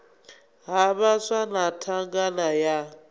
ha vhaswa na thangana ya